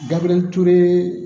Dabeleturi